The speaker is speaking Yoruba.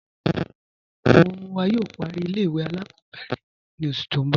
Awọn ọmọ wa yóò pàrí ilẹ̀-ìwé aláàkọ̀bẹ̀rẹ̀ ni oṣù tì n bọ̀